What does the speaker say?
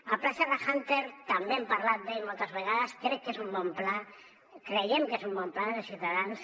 el pla serra húnter també hem parlat d’ell moltes vegades crec que és un bon pla creiem que és un bon pla des de ciutadans